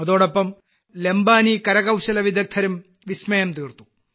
അതോടൊപ്പം ലംബാനി കരകൌശലവിദഗ്ധരും വിസ്മയം തീർത്തു